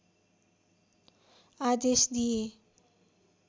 आदेश दिए